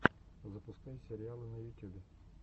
запускай сериалы на ютюбе